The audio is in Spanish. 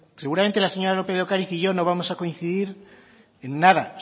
seguramente la señora lópez de ocariz y yo no vamos a coincidir en nada